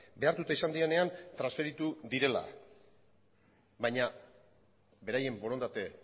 behartuta izan direnean transferitu direla baina beraien borondate